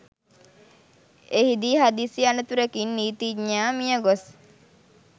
එහිදී හදිසි අනතුරකින් නිතිඥයා මියගොස්